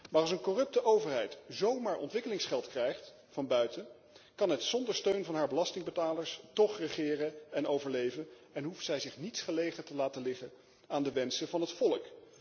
Maar als een corrupte overheid zomaar ontwikkelingsgeld krijgt van buiten, kan zij zonder steun van haar belastingbetalers toch regeren en overleven en hoeft zij zich niets gelegen te laten liggen aan de wensen van het volk.